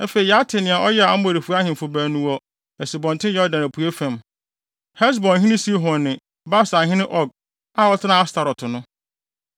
Afei yɛate nea ɔyɛɛ Amorifo ahemfo baanu wɔ Asubɔnten Yordan apuei fam, Hesbonhene Sihon ne Basanhene Og (a ɔtenaa Astarot no).